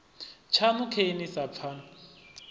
tshaṋu khe ni sa pfani